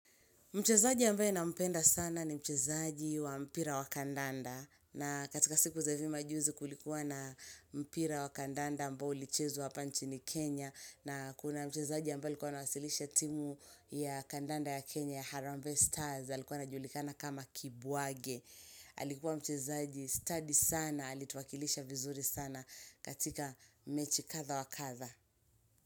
Mchezaji ambae nampenda sana ni mchezaji wa mpira wa kandanda. Na katika siku za ivi majuzi kulikuwa na mpira wa kandanda ambao ulichezwa hapa nchini Kenya. Na kuna mchezaji ambae alikuwa anawasilisha timu ya kandanda ya Kenya ya Harambe Stars. Alikuwa anajulikana kama kibuwage. Alikuwa mchezaji stadi sana. Alituwakilisha vizuri sana katika mechi kadha wa kadha.